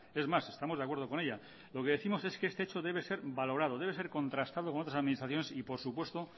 es más estamos de acuerdo con ella lo que décimos es que este hecho debe ser valorado debe ser contrastado con otras administraciones y por supuesto